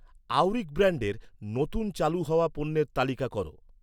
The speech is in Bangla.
আউরিক ব্র্যান্ডের, নতুন চালু হওয়া পণ্যের তালিকা কর